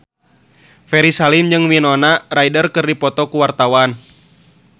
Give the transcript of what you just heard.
Ferry Salim jeung Winona Ryder keur dipoto ku wartawan